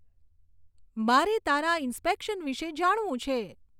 મારે તારા ઇન્સ્પેકશન વિષે જાણવું છે